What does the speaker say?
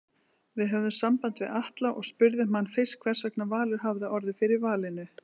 Við höfðum samband við Atla og spurðum hann fyrst hversvegna Valur hafi orðið fyrir valinu?